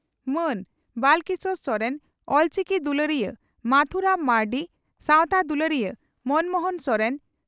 ᱢᱟᱱ ᱵᱟᱞᱠᱮᱥᱚᱨ ᱥᱚᱨᱮᱱ ᱚᱞᱪᱤᱠᱤ ᱫᱩᱞᱟᱹᱲᱤᱭᱟᱹ ᱢᱟᱹᱛᱷᱩ ᱨᱟᱢ ᱢᱟᱹᱨᱰᱤ ᱥᱟᱣᱛᱟ ᱫᱩᱞᱟᱹᱲᱤᱭᱟᱹ ᱢᱚᱱᱢᱚᱦᱚᱱ ᱥᱚᱨᱮᱱ